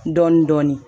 Dɔɔnin dɔɔnin